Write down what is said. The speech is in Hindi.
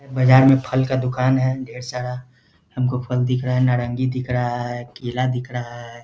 बाजार में फल का दुकान है ढेर सारा | हमको फल दिख रहा है नारंगी दिख रहा है केला दिख रहा है ।